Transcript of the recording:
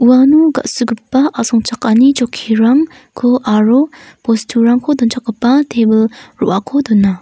uano ga·sugipa asongchakani chokkirangko aro bosturangko donchakgipa tebil ro·ako dona.